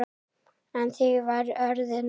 En því var öðru nær.